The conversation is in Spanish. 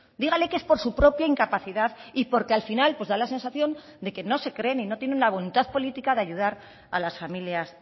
dígales que es por su propia incapacidad y porque al final da la sensación de que no se creen y no tiene la voluntad política de ayudar a las familias